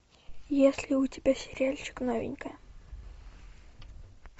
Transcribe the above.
есть ли у тебя сериальчик новенькая